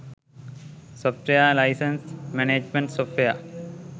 software license management software